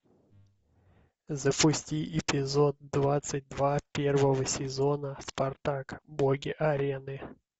запусти эпизод двадцать два первого сезона спартак боги арены